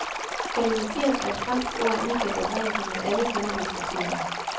Galimatias er et fransk ord af ukendt oprindelse, men alle kender dets betydning.